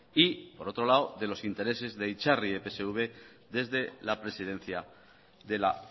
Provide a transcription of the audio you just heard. y por otro lado de los intereses de itzarri epsv desde la presidencia de la